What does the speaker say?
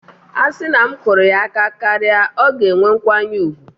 A sị na m kụrụ ya aka karịa, ọ ga-enwe nkwanye ùgwù